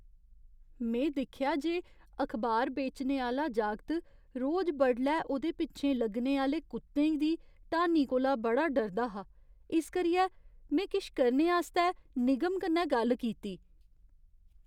में दिक्खेआ जे अखबार बेचने आह्‌ला जागत रोज बडलै ओह्दे पिच्छें लग्गने आह्‌ले कुत्तें दी ढानी कोला बड़ा डरदा हा। इस करियै, में किश करने आस्तै निगम कन्नै गल्ल कीती।